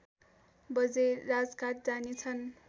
बजे राजघाट जानेछन्